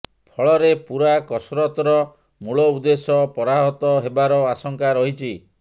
ଫଳରେ ପୂରା କସରତର ମୂଳ ଉଦ୍ଦେଶ୍ୟ ପରାହତ ହେବାର ଆଶଙ୍କା ରହିଛି